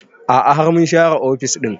A'a har mun share ofis ɗin